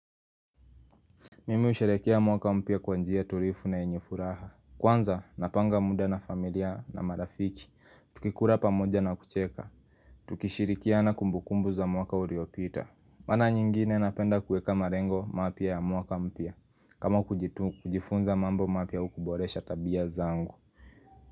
Mimu husherehekea mwaka mpya kwa njia tulivu na yenye furaha. Kwanza, napanga muda na familia na marafiki. Tukikula pamoja na kucheka. Tukishirikiana kumbukumbu za mwaka uliopita. Mara nyingine napenda kuweka malengo mapya ya mwaka mpya. Kama kujifunza mambo mapya huboresha tabia zangu.